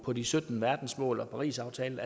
på de sytten verdensmål og parisaftalen